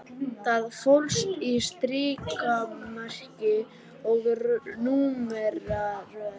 Það fólst í strikamerki og númeraröð